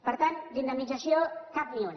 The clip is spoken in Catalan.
per tant d’indemnització cap ni una